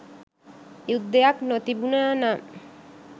යුද්ධයක් නොතිබුණා නම්